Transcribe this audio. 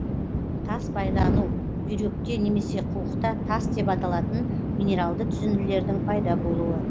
тас байлану бүйректе немесе қуықта тас деп аталатын минералды түзінділердің пайда болуы